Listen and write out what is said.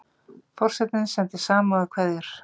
Forsetinn sendir samúðarkveðjur